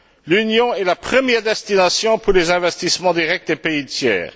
L'Union est la première destination pour les investissements directs des pays tiers.